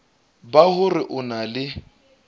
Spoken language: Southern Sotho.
ba hore o na le